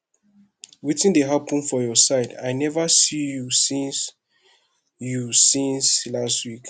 wetin dey hapun for your side i neva see you since you since lastweek